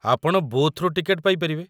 ଆପଣ ବୁଥ୍‌ରୁ ଟିକେଟ ପାଇପାରିବେ ।